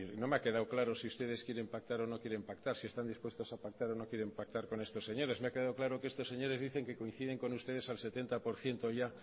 no me ha quedado claro si ustedes quieren pactar o no quieren pactar si están dispuestos a pactar o no quieren pactar con estos señores me ha quedado claro que estos señores dicen que coinciden con ustedes al setenta por ciento ya